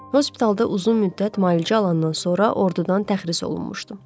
Hospitalda uzun müddət müalicə alandan sonra ordudan təxris olunmuşdum.